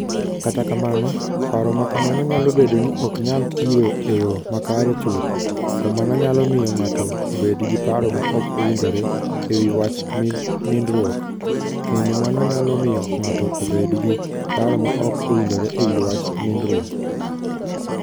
Kata kamano, paro ma kamano nyalo bedo ni ok nyal tiyo e yo makare chuth, to mano nyalo miyo ng'ato obed gi paro ma ok owinjore e wi wach nindruok, kendo mano nyalo miyo ng'ato obed gi paro ma ok owinjore e wi wach nindruok.